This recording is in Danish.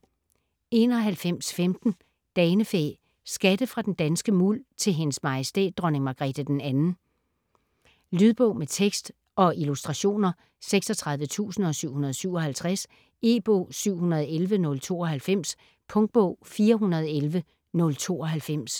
91.15 Danefæ: skatte fra den danske muld: til Hendes Majestæt Dronning Margrethe 2. Lydbog med tekst og illustrationer 36757 E-bog 711092 Punktbog 411092